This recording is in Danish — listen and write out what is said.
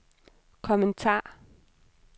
kommentar